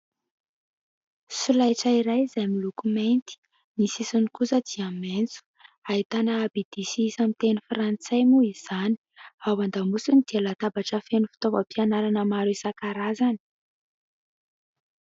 Solaitra iray izay miloko mainty, ny sisiny kosa dia maitso. Ahitana abidy sy isa amin'ny teny frantsay moa izany, ao an-damosiny dia latabatra feno fitaovam-pianarana maro isan-karazany.